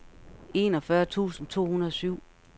enogfyrre tusind to hundrede og syv